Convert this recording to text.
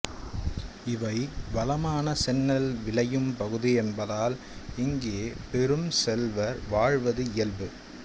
இவை வளமான செந்நெல் விளையும் பகுதி என்பதால் இங்கே பெரும் செல்வர் வாழ்வது இயல்பு